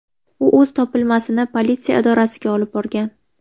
U o‘z topilmasini politsiya idorasiga olib borgan.